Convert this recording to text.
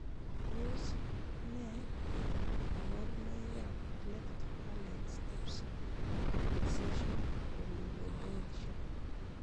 Tos nee koborunoikab Cleft palate stapes fixation oligodontia?